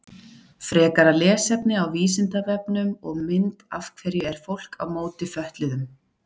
Frekara lesefni á Vísindavefnum og mynd Af hverju er fólk á móti fötluðum?